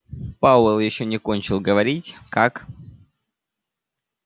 пауэлл ещё не кончил говорить как